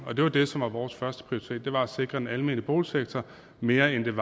og det var det som var vores førsteprioritet nemlig at sikre den almene boligsektor mere end